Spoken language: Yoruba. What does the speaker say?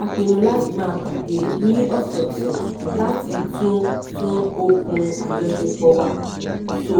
a pinnu láti máa pàdé ní ọ̀sọ̀ọ̀sẹ̀ láti tún tún okùn àjọṣepọ̀ wa so